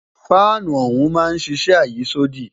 Fáànù ọ̀hún máa ń ṣiṣẹ́ àyísódì